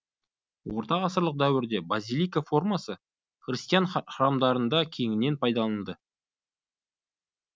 орта ғасырлық дәуірде базилика формасы христиан храмдарына кеңінен пайдаланылды